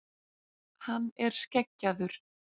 Hann er skeggjaður.